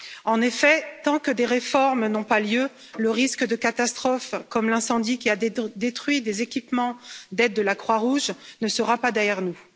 En effet, tant que des réformes n'ont pas lieu, le risque de catastrophes, comme l'incendie qui a détruit des équipements d'aide de la Croix Rouge, ne sera pas derrière nous.